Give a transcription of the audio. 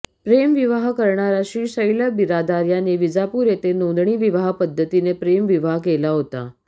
प्रेम विवाह करणारा श्रीशैल्य बिरादार याने विजापूर येथे नोंदणी विवाह पद्धतीने प्रेम विवाह केला होता